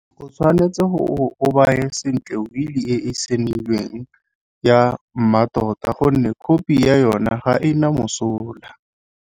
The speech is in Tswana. O tshwanetse o baye sentle wili e e saenilweng ya mmatota gonne khophi ya yona ga e na mosola.